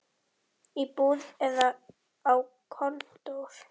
Í búð eða á kontór.